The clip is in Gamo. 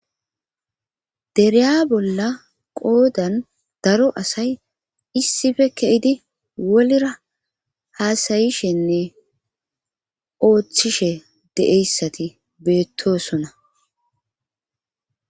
dereya bolla qoodan daro asay issife keidi wolra haasayishenne ooththishe deeyssati beettosona